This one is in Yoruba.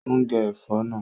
Ó ń gé ẹ̀fọ́ náà